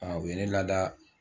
Aa u ye ne lada